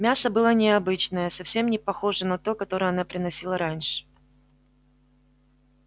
мясо было необычное совсем не похожее на то которое она приносила раньше